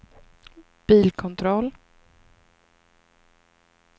bilkontroll